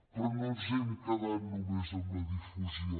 però no ens hem quedat només en la difusió